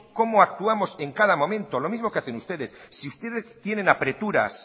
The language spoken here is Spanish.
como actuamos en cada momento lo mismo que hacen ustedes si ustedes tienen apreturas